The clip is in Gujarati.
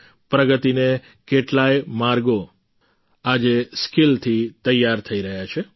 પ્રગતિને કેટલાય માર્ગો આજે સ્કિલ થી તૈયાર થઈ રહ્યા છે